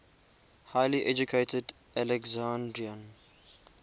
highly educated alexandrian